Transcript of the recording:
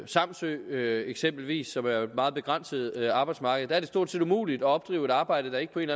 samsø eksempelvis som jo er et meget begrænset arbejdsmarked er det stort set umuligt at opdrive et arbejde der ikke på en